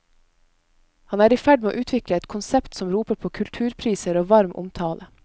Han er i ferd med å utviklet et konsept som roper på kulturpriser og varm omtale.